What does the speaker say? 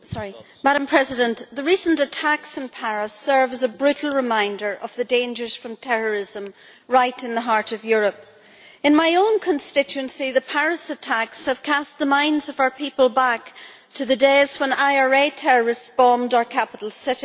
Madam President, the recent attacks in Paris serve as a brutal reminder of the dangers from terrorism right in the heart of Europe. In my own constituency, the Paris attacks have cast the minds of our people back to the days when IRA terrorists bombed our capital city.